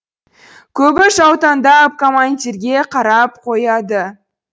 көбі жаутаңдап командирге қарап қояды